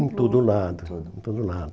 Em todo lado, em todo em todo lado.